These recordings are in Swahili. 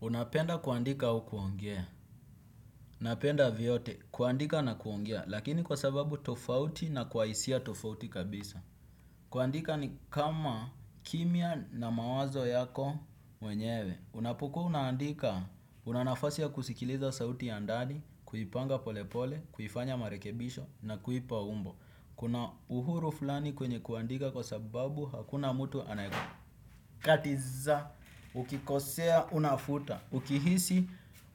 Unapenda kuandika au kuongea. Ninapenda vyote, kuandika na kuongea, lakini kwa sababu tofauti na kwa hisia tofauti kabisa. Kuandika ni kama kimya na mawazo yako mwenyewe. Unapokuwa unaandika, una nafasi ya kusikiliza sauti ya ndani, kuipanga pole pole, kuifanya marekebisho na kuipa umbo. Kuna uhuru fulani kwenye kuandika kwa sababu hakuna mtu anayeku. Katiza, ukikosea, unafuta ukihisi,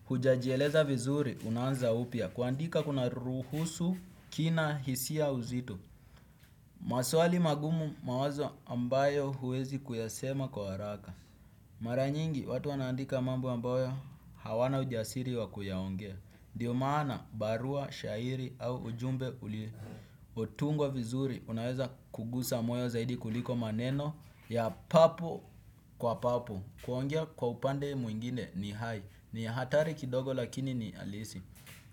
hujajieleza vizuri, unaanza upya. Kuandika kuna ruhusu, kina hisia uzito. Maswali magumu mawazo ambayo huwezi kuyasema kwa haraka. Mara nyingi watu wanaandika mambo ambayo hawana ujasiri wa kuyaongea ndio maana barua, shairi au ujumbe uliotungwa vizuri unaweza kugusa moyo zaidi kuliko maneno ya papo kwa papo. Kuongea kwa upande mwingine ni hai, ni hatari kidogo lakini ni halisi.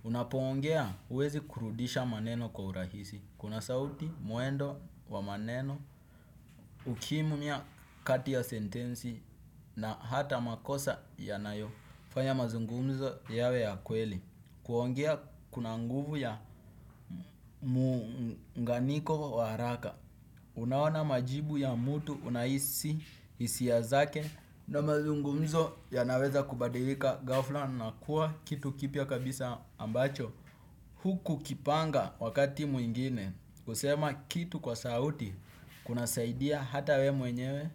Unapoongea huwezi kurudisha maneno kwa urahisi. Kuna sauti, mwendo wa maneno ukimya kati ya sentensi na hata makosa yanayofanya mazungumzo yawe ya kweli. Kuongea kuna nguvu ya muunganiko wa haraka. Unaona majibu ya mtu unahisi hisia zake na mazungumzo yanaweza kubadilika ghafla na kuwa kiyu kipya kabisa ambacho hukukipanga wakati mwingine, kusema kitu kwa sauti, kunasaidia hata we mwenyewe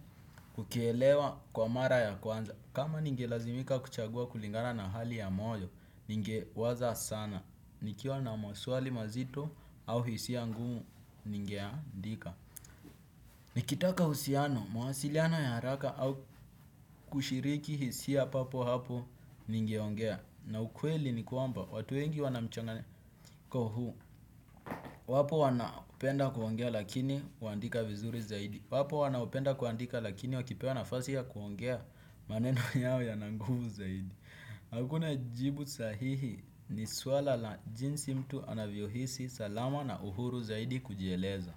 kukielewa kwa mara ya kwanza. Kama ningelazimika kuchagua kulingana na hali ya moyo, ningewaza sana. Nikiwa na maswali mazito au hisia ngumu ningeandika nikitaka uhusiano, mawasiliano ya haraka au kushiriki hisia papo hapo ningeongea na ukweli ni kwamba watu wengi wana mchanganyiko huu. Wapo wanaopenda kuongea lakini huandika vizuri zaidi, wapo wanaopenda kuandika lakini wakipewa nafasi ya kuongea maneno yao yananguvu zaidi hakuna jibu sahihi ni suala la jinsi mtu anavyohisi salama na uhuru zaidi kujieleza.